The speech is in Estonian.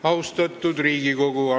Austatud Riigikogu!